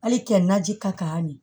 Hali kɛ naji ka kan nin